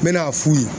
N bɛ n'a f'u ye